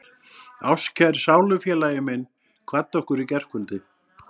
Ástkær sálufélagi minn kvaddi okkur í gærkvöldi.